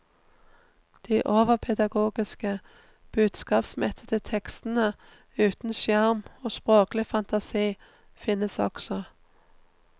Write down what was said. De overpedagogiske, budskapsmettede tekstene uten sjarm og språklig fantasi finnes også.